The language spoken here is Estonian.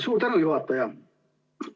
Suur tänu, juhataja!